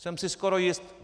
Jsem si skoro jist.